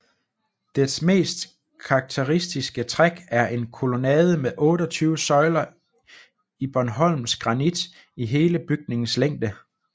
Dets mest karakteristiske træk er en kolonnade med 28 søjler i bornholmsk granit i hele bygningens længde